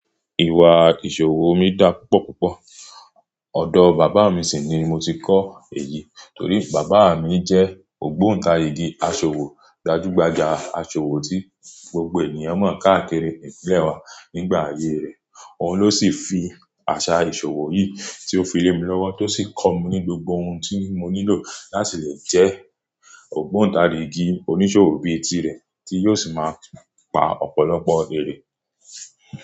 Ìwà ìṣòwò mi dá púpọ̀ púpọ̀. Odo bàbá mi sì ni mo ti kọ́ èyí torí bàbá mi jẹ́ ògbóntarìgì aṣòwò gbajúgbajà, aṣòwò tí gbogbo ènìyàn mọ̀ káàkiri ìpínlẹ̀ wa nígbà ayé rẹ̀. Òun ló sì fi àṣà ìṣòwò yìí tí ó fi lé mi lọ́wọ́ tó sì kọ́ mi ní gbogbo ohun tí mo nílò láti lè jẹ́ ògbóntarìgì oníṣòwò bíi tirẹ̀ tí yóò sì máa pa ọ̀pọ̀lọpọ̀ èrè.